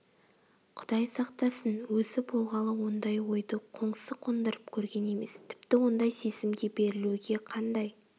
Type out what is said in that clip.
құдай сақтасын өзі болғалы ондай ойды қоңсы қондырып көрген емес тіпті ондай сезімге берілуге қандай